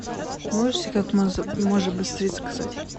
можете как можно быстрее заказать